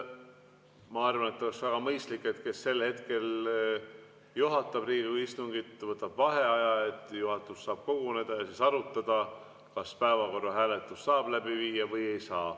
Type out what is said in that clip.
Ma arvan, et oleks väga mõistlik, et see, kes sel hetkel Riigikogu istungit juhatab, võtab vaheaja, et juhatus saaks koguneda ja arutada, kas päevakorra hääletust saab läbi viia või ei saa.